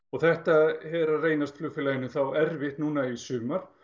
þetta er að reynast flugfélaginu erfitt núna í sumar